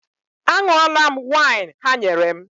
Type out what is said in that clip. A ṅụọla m waịn ha nyere m.